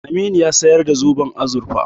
Aminu ya sayar da zoben azurfa.